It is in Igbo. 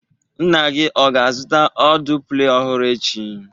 Nna gị ọ ga-azụta ọdụ Play ọhụrụ echi?